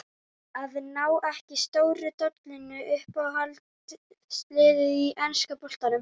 Að ná ekki stóru dollunni Uppáhaldslið í enska boltanum?